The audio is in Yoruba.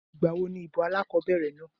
Ìgbà wo ní ìbò alákobẹ̀rẹ̀ náà?